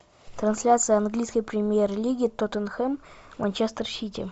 трансляция английской премьер лиги тоттенхэм манчестер сити